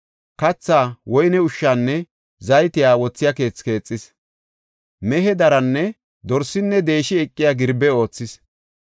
Kathaa, woyne ushshaanne zayte wothiya keethe keexis. Mehe daranne dorsinne deeshi eqiya girbe oothis.